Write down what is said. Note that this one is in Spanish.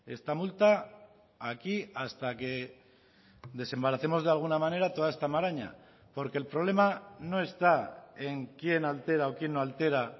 esta multa aquí hasta que desembaracemos de alguna manera toda esta maraña porque el problema no está en quién altera o quién no altera